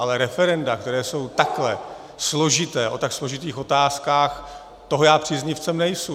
Ale referenda, která jsou takhle složitá, o tak složitých otázkách, toho já příznivcem nejsem.